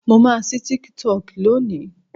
mo ma sí TikTok loni